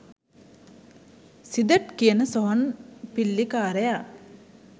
සිදට් කියන සොහොන් පිල්ලිකාරයා.